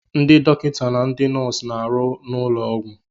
Ndị dọkịta na ndị nọọsụ na-arụ n'ụlọ ọgwụ.